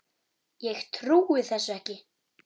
Ég trúi þessu ekki!